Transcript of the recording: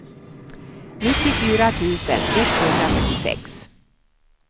nittiofyra tusen etthundrafyrtiosex